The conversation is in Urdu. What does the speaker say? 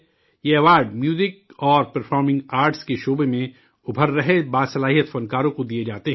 یہ ایوارڈ میوزک اور پرفارمنگ آرٹس کے شعبے میں ابھر رہے باصلاحیت فنکاروں کو دیے جاتے ہیں